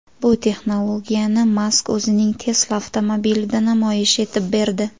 Bu texnologiyani Mask o‘zining Tesla avtomobilida namoyish etib berdi.